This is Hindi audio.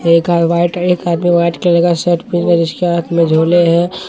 एक का वाइट एक आदमी वाइट कलर का शर्ट पहिने जिसके हाथ में झोले हैं।